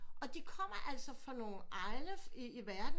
Og de kommer altså fra nogle egne i verden